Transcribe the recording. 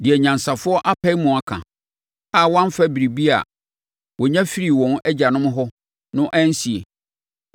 deɛ anyansafoɔ apae mu aka, a wɔamfa biribiara a wɔnya firii wɔn agyanom hɔ no ansie